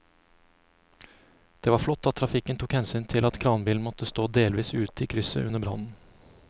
Det var flott at trafikken tok hensyn til at kranbilen måtte stå delvis ute i krysset under brannen.